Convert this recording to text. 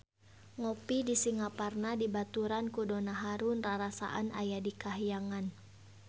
Ngopi di Singaparna dibaturan ku Donna Harun rarasaan aya di kahyangan